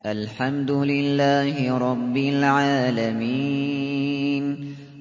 الْحَمْدُ لِلَّهِ رَبِّ الْعَالَمِينَ